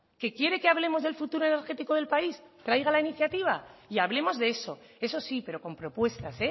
que quiere que hablemos del futuro energético del país traiga la iniciativa y hablemos de eso eso sí pero con propuestas